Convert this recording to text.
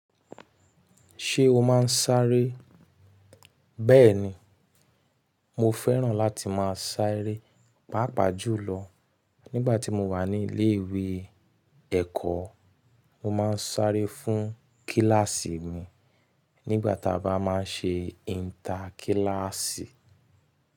Ṣé o máa ń sáré? Bẹ́ẹ̀ni, mo fẹ́ràn láti máa sáré, pàápàá jù lọ nígbà tí mo wà ní ilé-ìwé ẹ̀kọ́. Mo máa ń sáré fún kíláàsì mi nígbà tí a bá máa ń ṣe ìtà kíláàsì.